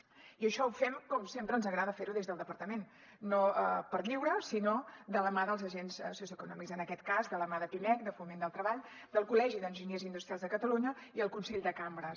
i això ho fem com sempre ens agrada fer ho des del departament no per lliure sinó de la mà dels agents socioeconòmics en aquest cas de la mà de pimec de foment del treball del col·legi d’enginyers industrials de catalunya i el consell de cambres